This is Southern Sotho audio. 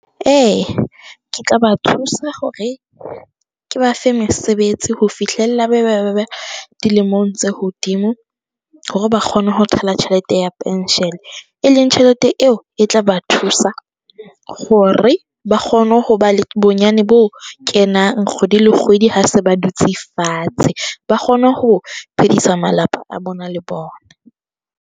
E, ke tla ba thusa hore ke ba fe mesebetsi ho fihlella ba be ba be dilemong tse hodimo hore ba kgone ho thola tjhelete ya pension, e leng tjhelete eo e tla ba thusa hore ba kgone ho ba le bonyane bo kenang kgwedi le kgwedi ha se ba dutse fatshe, ba kgone ho phedisa malapa a bona le bona.